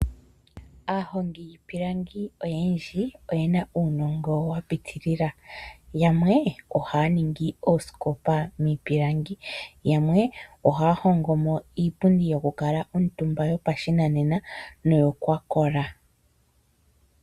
Aahongi yiipilangi oyendji oye na uunongo wa pitilila yamwe ohaya ningi oosikopa miipilangi, yamwe ohaya hongomo iipundi yokukala omutumba yopashinanena noyokwakola.